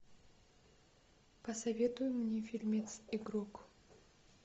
посоветуй мне фильмец игрок